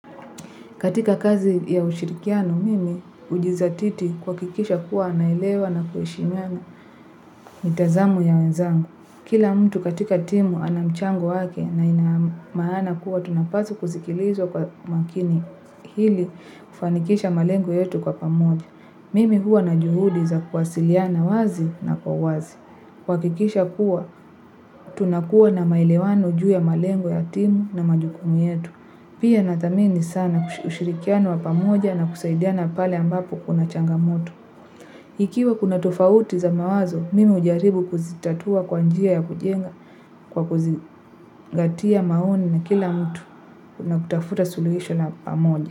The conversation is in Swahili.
Katika kazi ya ushirikiano, mimi hujizatiti kuhakikisha kuwa anarlewa na kuheshimiana mitazamo ya wenzangu. Kila mtu katika timu ana mchango wake na inamaana kuwa tunapaswa kuzikiliza kwa makini ili kufanikisha malengo yetu kwa pamoja. Mimi huwa na juhudi za kuwasiliana wazi na kwa wazi. Kuhakikisha kuwa, tunakuwa na maelewano juu ya malengo ya timu na majukumu yetu. Pia nathamini sana ushirikiano wa pamoja na kusaidiana pale ambapo kuna changamoto. Ikiwa kuna tofauti za mawazo, mimi hujaribu kuzitatua kwa njia ya kujenga kwa kuzingatia maoni ya kila mtu na kutafuta suluhisho kwa pamoja.